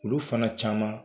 Olu fana caman